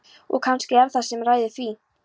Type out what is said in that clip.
og kannski er það hann sem ræður því.